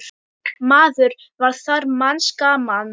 Maður var þar manns gaman.